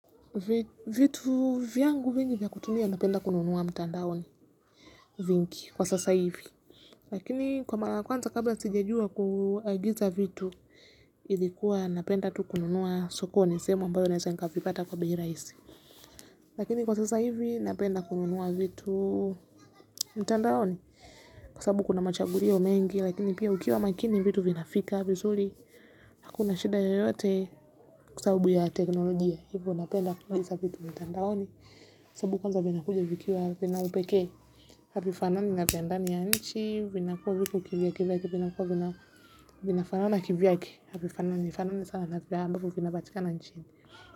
Vitu vyangu vingi vya kutumia napenda kununua mtandaoni vingi kwa sasa hivi lakini kwa mara kwanza kabla sija jua kuagisa vitu ilikuwa napenda tu kununuwa sokoni semu ambayo nezenga nika vipata kwa bei rahisi lakini kwa sasa hivi napenda kununuwa vitu mtandaoni kwa sabu kuna machagulio wa mengi lakini pia ukiwa makini vitu vinafika vizuri hakuna shida yeyote kusabu ya teknolojia hivyo napenda kuagiza vitu mtandaoni sababu kwanza vinakuja vikiwa vina upeke havifanani na viendani ya nchi vinakuwa viku kivya kivyake vinakuwa vinafanana na kivyake hapifanani sana nafiga ambaku vinabatika nanchini.